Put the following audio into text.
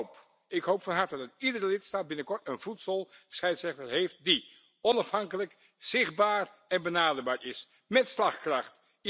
Ik hoop van harte iedere lidstaat binnenkort een voedselscheidsrechter heeft die onafhankelijk, zichtbaar en benaderbaar is, mét slagkracht.